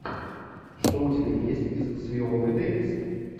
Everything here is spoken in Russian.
что у тебя есть из с виолой дэвис